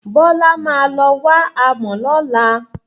Bọ́lá máa lọ wá amò lọ́la.